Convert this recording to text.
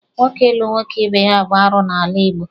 Nwoke ịlụ nwoke ibe ya bụ arụ n'ala Igbo.